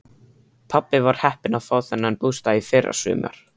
Pabbi var heppinn að fá þennan bústað í fyrrasumar.